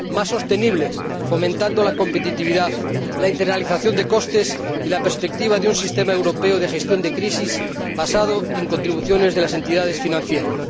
y más sostenible, fomentando la competitividad, la internalización de costes y la perspectiva de un sistema europeo de gestión de crisis basado en contribuciones de las entidades financieras.